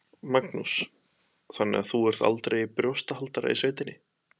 Magnús: Þannig að þú ert aldrei í brjóstahaldara í sveitinni?